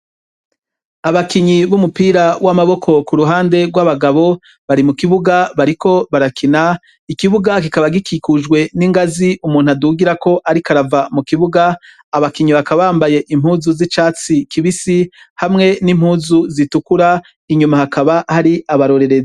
Abakinyi b'umupira w'amaboko ku ruhande rw'abagabo bari mu kibuga bariko barakina, ikibuga kikaba gikikujwe n'ingazi umuntu adugirako ariko arava mu kibuga, abakinyi bakaba bambaye impuzu z'icatsi kibisi hamwe n'impuzu zitukura inyuma hakaba hari abarorerezi.